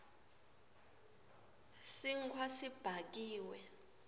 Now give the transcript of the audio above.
sinkhwa sibhakiwe